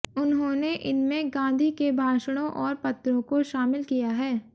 उन्होंने इनमें गांधी के भाषणों और पत्रों को शामिल किया है